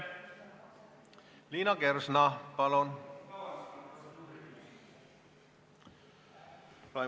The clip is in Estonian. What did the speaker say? Liina Kersna, palun!